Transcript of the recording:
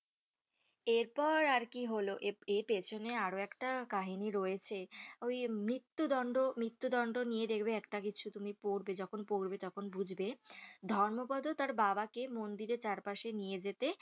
এর পর আর কি হলো এর পিছনে আরো একটা কাহিনী রয়েছে ওই মৃত্যু দন্ড মৃত্যু দন্ড নিয়ে দেখবে একটা কিছু তুমি পড়বে যখন পড়বে তখন বুঝবে ধর্মপদ তার বাবাকে মন্দিরের চারপাশে নিয়ে যেতে